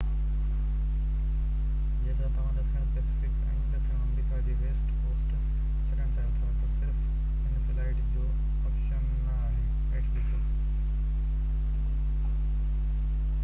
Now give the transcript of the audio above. جيڪڏهن توهان ڏکڻ پئسفڪ ۽ ڏکڻ آمريڪا جو ويسٽ ڪوسٽ ڇڏڻ چاهيو ٿا تہ صرف هن فلائيٽ جو آپشن نہ آهي. هيٺ ڏسو